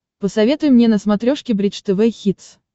посоветуй мне на смотрешке бридж тв хитс